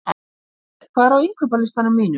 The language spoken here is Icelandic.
Alfred, hvað er á innkaupalistanum mínum?